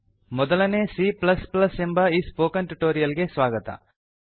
ಮೊದಲನೇ C plus plus ಸಿಎ ಎಂಬ ಈ ಸ್ಪೋಕನ್ ಟ್ಯುಟೋರಿಯಲ್ ಗೆ ಸ್ವಾಗತ